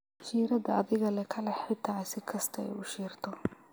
Shiirada adhigale kalex xita sikastaaa aay uushirto.